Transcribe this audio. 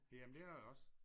Jamen det er der også